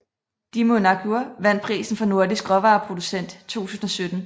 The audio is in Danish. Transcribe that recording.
Dímunargarður vandt prisen for Nordisk råvareproducent 2017